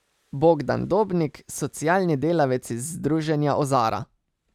Bogdan Dobnik, socialni delavec iz združenja Ozara.